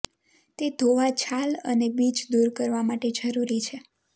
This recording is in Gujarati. તે ધોવા છાલ અને બીજ દૂર કરવા માટે જરૂરી છે